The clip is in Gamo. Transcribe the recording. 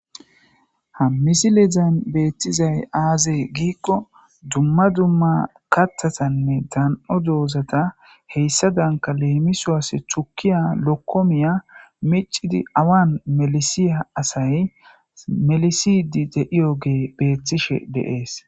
hammisilezan beettizay aazey giikko dumma dumma kattatanne dan7o doozata heyssa danka leemisoas chukiya lokkomiya micidi awan melisiya asay melisidi deiyogee beettishe deees